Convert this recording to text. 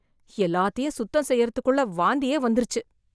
எல்லாத்தையும் சுத்தம் செய்றதுக்குள்ள வாந்தியே வந்துருச்சு.